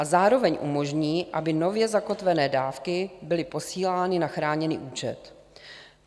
A zároveň umožní, aby nově zakotvené dávky byly posílány na chráněný účet.